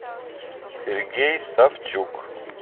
сергей савчук